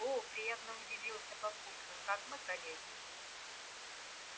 о приятно удивился папулька так мы коллеги